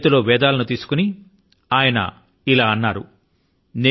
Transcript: తన చేతి లో వేదాల ను తీసుకొని ఆయన ఇలా అన్నారు